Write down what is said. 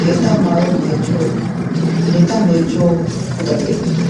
keetta maayuwa meecciyo, keetta meeciyo puxxati eqqi uttidoosona.